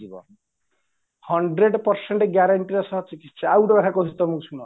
hundred present guaranty ସହ ଚିକିସ୍ୟ ଆଉଗୋଟେ କଥା କହୁଚି ଶୁଣ